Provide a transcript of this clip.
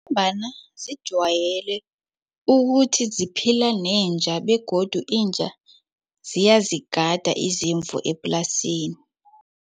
Ngombana zijwayele ukuthi ziphila nenja begodu inja ziyazigada izimvu eplasini.